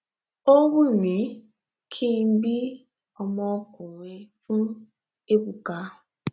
ó wímí kí n bí ọmọkùnrin fún ébùkà